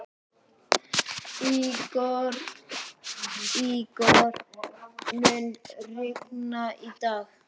Ígor, mun rigna í dag?